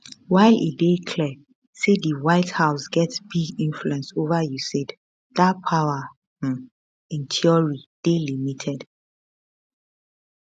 while e dey clear say di white house get big influence ova usaid dat power um in theory dey limited